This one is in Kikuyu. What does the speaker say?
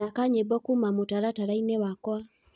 thaka nyĩmbo kũũma mũtarataraĩnĩ wakwa